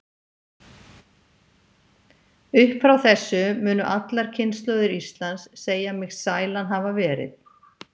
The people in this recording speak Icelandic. Upp frá þessu munu allar kynslóðir Íslands segja mig sælan hafa verið.